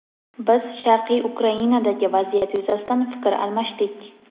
Biz Sharqiy Ukrainadagi vaziyat yuzasidan fikr almashdik.